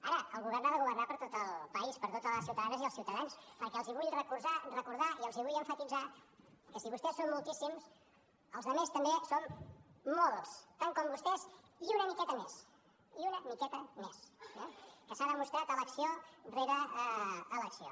ara el govern ha de governar per a tot el país per a totes les ciutadanes i els ciutadans perquè els vull recordar i els vull emfasitzar que si vostès són moltíssims els altres també som molts tants com vostès i una miqueta més i una miqueta més eh que s’ha demostrat elecció rere elecció